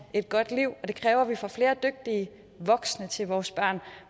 et godt liv og det kræver at vi får flere dygtige voksne til vores børn